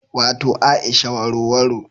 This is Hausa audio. Wato Aisha warowaro